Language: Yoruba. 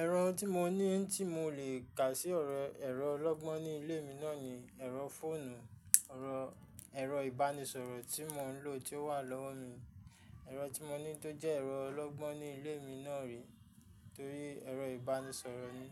Ẹ̀rọ tí mo ní tí mo lè kà sí ẹ̀rọ ọlọ́gbọ́n ní ilé mi náà ni ẹ̀rọ fóònù. Ọ̀rọ̀ ẹ̀rọ ìbánisọ̀rọ̀ tí mò ń lò tí ó wà lọ́wọ́ mi. Ẹ̀rọ tí mo ní tó jẹ́ ẹ̀rọ ọlọ́gbọ́n ní ilé mi náà rè torí ẹ̀rọ ìbánisọ̀rọ̀ ni.